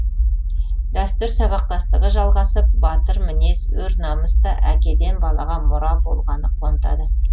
дәстүр сабақтастығы жалғасып батыр мінез өр намыс та әкеден балаға мұра болғаны қуантады